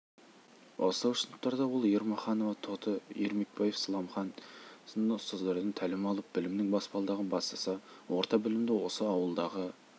бастауыш сыныптарда ол ермаханова тоты ермекбаев сламхан сынды ұстаздардан тәлім алып білімнің баспалдағын бастаса орта білімді осы ауылдағы